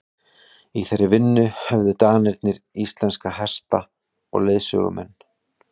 í þeirri vinnu höfðu danirnir íslenska hesta og leiðsögumenn